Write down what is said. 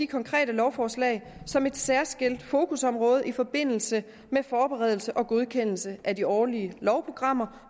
konkrete lovforslag som et særskilt fokusområde i forbindelse med forberedelse og godkendelse af de årlige lovprogrammer